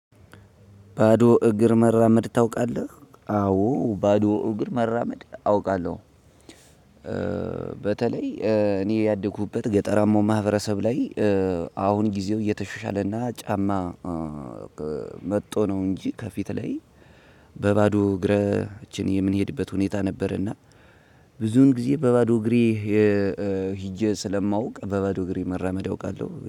ባዶ እግር መራመድ ታውቃለህ አዎ ባዶ እግር መራመድ አውቃለው። በተለይ እኔ ያደኩበት ገጠራማው ማህበረሰብ ላይ። አሁን ጊዜው እየተሻሻለና ጫማ መጥቶ ነው እንጂ ከፊት ላይ በባዶ እግራችን የምንሄድበት ሁኔታ ነበርና። ብዙን ጊዜ በባዶ እግሬ ሂጄ ስለማውቅ በባዶ እግሬ መራመድ አውቃለው